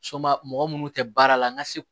Soba mɔgɔ minnu tɛ baara la n ka se